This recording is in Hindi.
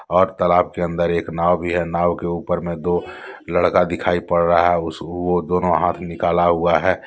और तालाब के अंदर एक नाव भी है नाव के ऊपर मे दो लडका दिखाई पड रहा है उस वो दोनो हाथ निकाला हुआ है।